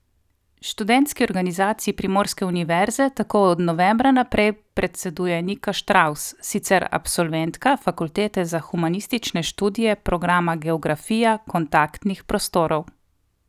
Študentski organizaciji primorske univerze tako od novembra naprej predseduje Nika Štravs, sicer absolventka fakultete za humanistične študije programa geografija kontaktnih prostorov.